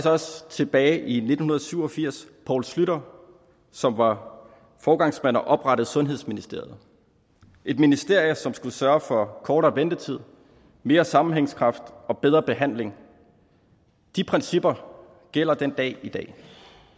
også tilbage i nitten syv og firs poul schlüter som var foregangsmand og oprettede sundhedsministeriet et ministerie som skulle sørge for kortere ventetid mere sammenhængskraft og bedre behandling de principper gælder den dag i dag